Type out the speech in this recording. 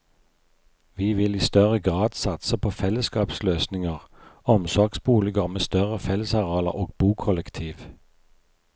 Vi vil i større grad satse på fellesskapsløsninger, omsorgsboliger med større fellesarealer og bokollektiv.